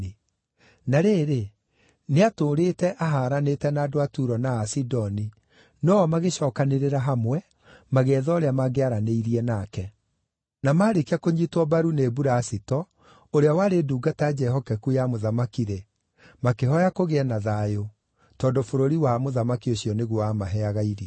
Na rĩrĩ, nĩatũũrĩte ahaaranĩte na andũ a Turo na a Sidoni, no o magĩcookanĩrĩra hamwe magĩetha ũrĩa mangĩaranĩirie nake. Na maarĩkia kũnyiitwo mbaru nĩ Bulasito, ũrĩa warĩ ndungata njĩhokeku ya mũthamaki-rĩ, makĩhooya kũgĩe na thayũ, tondũ bũrũri wa mũthamaki ũcio nĩguo wamaheaga irio.